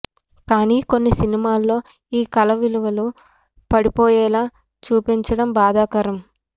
కానీ కొన్ని సినిమాల్లో ఈ కళ విలువలు పడిపోయేలా చూపించడం బాధాకరం